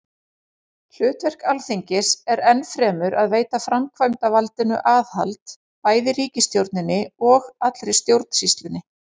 Hlutverk Alþingis er enn fremur að veita framkvæmdarvaldinu aðhald, bæði ríkisstjórninni og allri stjórnsýslunni.